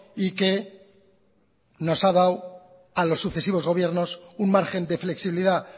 y que nos ha dado a los sucesivos gobiernos un margen de flexibilidad